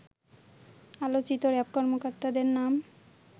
আলোচিত র‍্যাব কর্মকর্তাদের নাম